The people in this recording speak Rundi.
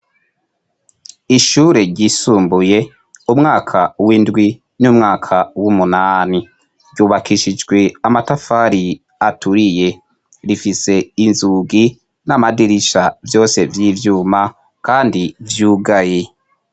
Ishure ryisumbuye umwaka w'indwi n'umwaka w'umunani ryubakishijwe amatafari aturiye rifise inzugi n'amadirisha vyose vy'ivyuma, kandi vyugayi.